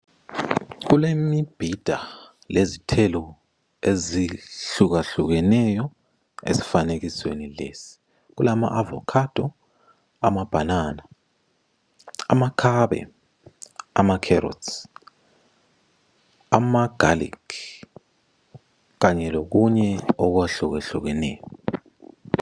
Kulemibhida lezithelo ezihlukahlukeneyo esifanekisweni lesi. Kulama avocado, amabhanana, amakhabe, amakherotsi amagalikhi kanye lokunye okwahlukahlukeneyo.